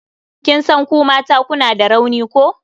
Kin san ku mata kuna da rauni ko?